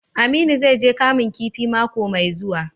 Aminu zai je Kamun kifi mako mai zuwa.